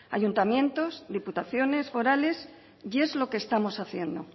ayuntamientos diputaciones forales y es lo que estamos haciendo